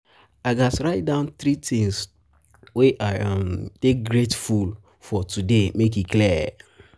i gats write down three things wey i um dey grateful for today make e clear.